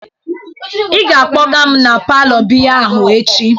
Ị ga-akpọga m na palour biya ahụ echi!